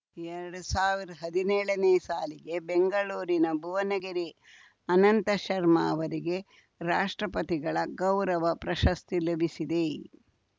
ಎರಡ್ ಸಾವಿರದ ಹದಿನೇಳನೇ ಸಾಲಿಗೆ ಬೆಂಗಳೂರಿನ ಭುವನಗಿರಿ ಅನಂತ ಶರ್ಮ ಅವರಿಗೆ ರಾಷ್ಟ್ರಪತಿಗಳ ಗೌರವ ಪ್ರಶಸ್ತಿ ಲಭಿಸಿದೆ